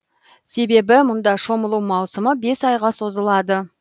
себебі мұнда шомылу маусымы бес айға созылады